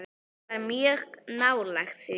Ég var mjög nálægt því.